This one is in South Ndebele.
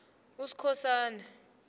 uskhosana